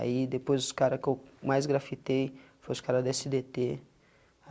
Aí depois, os caras que eu mais grafitei, foi os caras do esse dê tê.